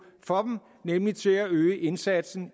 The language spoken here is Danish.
for dem nemlig til at øge indsatsen